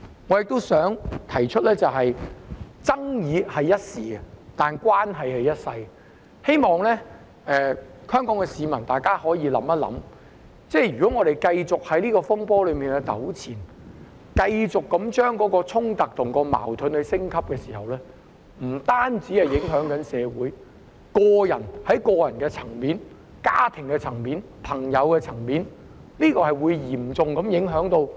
我亦想指出，爭議只是一時，但關係是一輩子的，我希望香港市民可以想一想，如果我們繼續就這個風波糾纏，繼續令衝突和矛盾升級，這樣不單會影響社會，更會嚴重影響個人、家庭及朋友層面的關係。